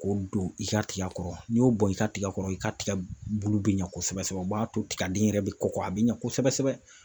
K'o don i ka tiga kɔrɔ n'i y'o bɔn i ka tiga kɔrɔ i ka tigɛ bulu bi ɲɛ kosɛbɛ sɛbɛ o b'a to tigɛden yɛrɛ bɛ kɔkɔ a bɛ ɲɛ kosɛbɛ sɛbɛ